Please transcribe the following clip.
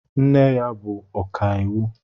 Nne ya bụ ọkàiwu.